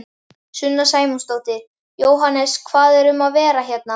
Sunna Sæmundsdóttir: Jóhannes hvað er um að vera hérna?